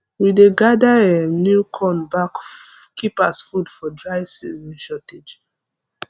we dey gather um new corn back keep as food for dry season shortage